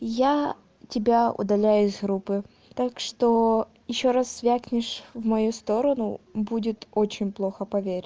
я тебя удаляю из группы так что ещё раз вякнешь в мою сторону будет очень плохо поверь